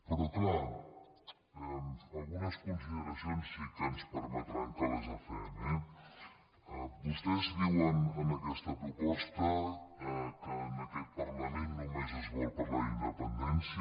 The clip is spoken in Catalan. però és clar algunes consideracions sí que ens permetran que les fem eh vostès diuen en aquesta proposta que en aquest parlament només es vol parlar d’independència